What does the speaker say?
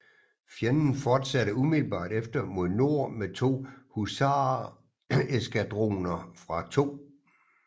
Fjenden fortsatte umiddelbart efter mod nord med to husareskadroner fra 2